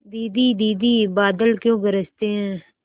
दीदी दीदी बादल क्यों गरजते हैं